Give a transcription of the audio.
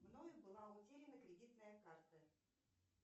мной была утеряна кредитная карта